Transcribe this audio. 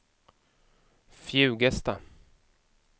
Fjugesta